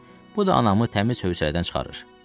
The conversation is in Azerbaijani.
Bu da anamı təmiz hövsələdən çıxarır.